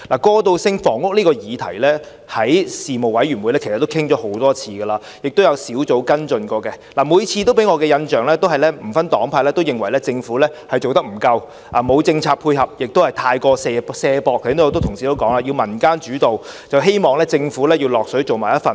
過渡性房屋這項議題，在事務委員會其實討論過很多次，亦有小組委員會跟進，每次給我的印象都是不分黨派皆認為政府做得不夠，沒有政策配合，過於卸責，正如剛才很多同事都提及，主要是以民間主導，希望政府能夠參與其中。